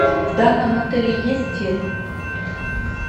в данном отеле есть тир